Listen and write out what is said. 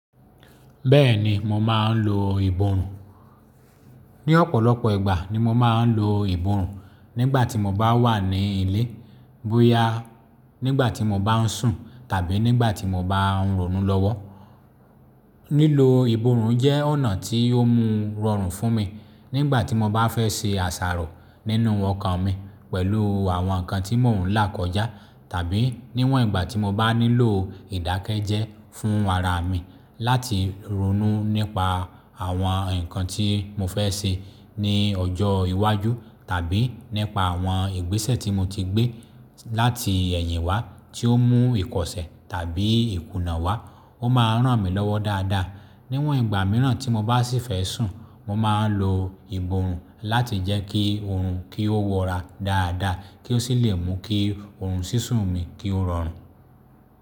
Bẹ́ẹ̀ni mo máa ń lo ìbòrùn Ni ọ̀pọ̀lọpọ̀ ìgbà ni mo máa ń lo ìbòrùn Nígbà tí mo bá wà ní ilé, bóyá nígbà tí mo bá ń sùn tàbí nígbà tí mo bá ń ronú lọ́wọ́. Lílo ìbòrùn jẹ́ ọ̀nà tí ó mú rọrùn fún mi nígbà tí mo bá fẹ́ ṣe àṣàrò nínú ọkàn mi pẹ̀lú àwọn ǹkan tí mò ń là kọjá tàbí níwọ̀n ìgbà tí mo bá nílò ìdákẹ́jẹ́ fún ara mi láti ronú nípa àwọn ǹkan tí mo fẹ́ ṣe ní ọjọ́ iwájú tàbí nípa àwọn ìgbésẹ̀ tí mo ti gbé láti ẹ̀yìn wá tí ó mú ìkọ̀ṣẹ́ tàbí ìkùnà wá, ó máa ń ràn mí lọ́wọ́ dáadáa. Níwọ̀n ìgbà mìíràn tí mo bá sì fẹ́ sùn, mo máa ń lo ìbòrùn láti jẹ́ kí òòrùn kí ó wọra dáadáa kí ó sì lè mú kí òòrùn sísun mi kí ó rọrùn.